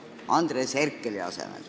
Aitäh!